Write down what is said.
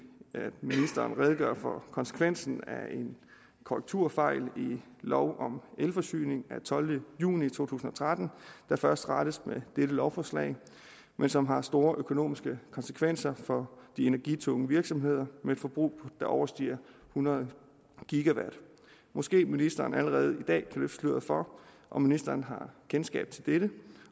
at ministeren redegør for konsekvensen af en korrekturfejl i lov om elforsyning af tolvte juni to tusind og tretten der først rettes med dette lovforslag men som har store økonomiske konsekvenser for de energitunge virksomheder med et forbrug der overstiger hundrede gigawatt måske ministeren allerede i dag kan løfte sløret for om ministeren har kendskab til dette